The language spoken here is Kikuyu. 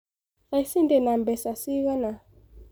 Thaic ndĩ nambeca cigana.